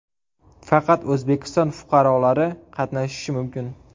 Faqat O‘zbekiston fuqarolari qatnashishi mumkin.